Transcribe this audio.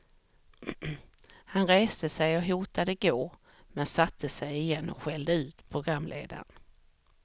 Han reste sig och hotade gå, men satte sig igen och skällde ut programledaren.